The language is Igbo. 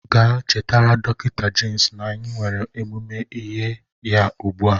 Gaa chetara dọktọ Jemis na anyị nwere ọmụmụ ihe ya ugbu a!